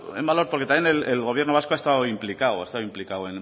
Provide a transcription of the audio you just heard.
en valor porque también el gobierno vasco ha estado implicado ha estado implicado